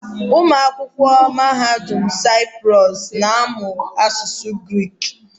Ụmụ akwụkwọ Mahadum Saịprọs na-amụ asụsụ Grik.